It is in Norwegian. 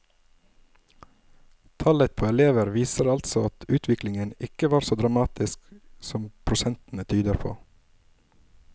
Tallet på elever viser altså at utviklingen ikke var så dramatisk som prosentene tyder på.